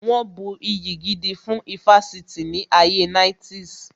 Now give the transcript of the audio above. Wọn bu iyì gidi fún ifásitì ní ayé 90's